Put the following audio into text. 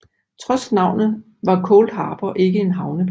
Trods navnet var Cold Harbor ikke en havneby